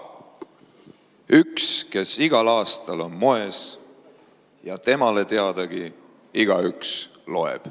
Üks, kes igal aastal on moes, ja temale teadagi igaüks loeb.